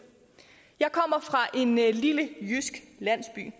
jeg kommer fra en lille jysk landsby